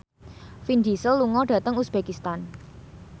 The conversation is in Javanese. Vin Diesel lunga dhateng uzbekistan